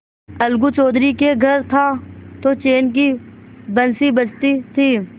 अलगू चौधरी के घर था तो चैन की बंशी बजती थी